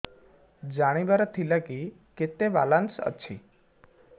ଜାଣିବାର ଥିଲା କି କେତେ ବାଲାନ୍ସ ଅଛି